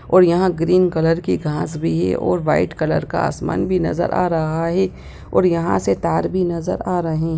और यहाँ green colour की घास भी है और व्हाइट कलर का आसमान भी नजर आ रहा है और यहाँ से तार भी नजर आ रहे--